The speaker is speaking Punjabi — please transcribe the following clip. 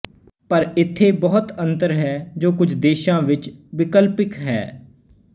ਪਰ ਇੱਥੇ ਬਹੁਤ ਅੰਤਰ ਹੈ ਜੋ ਕੁਝ ਦੇਸ਼ਾਂ ਵਿੱਚ ਵਿਕਲਪਿਕ ਹੈ